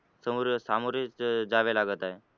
समोर सामोरेच जावे लागत आहे.